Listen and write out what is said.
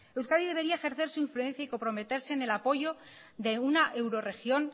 euskadi debería ejercer su influencia y comprometerse en el apoyo de una euroregión